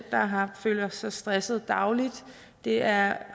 der føler sig stresset dagligt det er